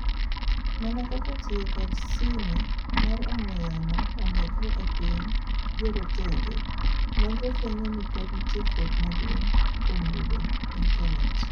mana kaka tiyo kod sime mar ong'ue yamo omedre epiny jorotenge, nonro fuenyo nipod nitie fuok maduong' kuoom yudo internate